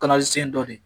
Kala sen dɔ de